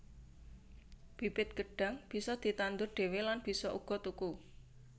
Bibit gêdhang bisa ditandur dhewé lan bisa uga tuku